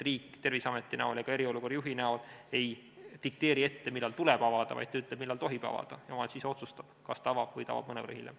Riik Terviseameti ega eriolukorra juhi kaudu ei dikteeri, millal tuleb avada, vaid ta ütleb, millal tohib avada, ja omavalitsus ise otsustab, kas ta avab või ta avab mõnevõrra hiljem.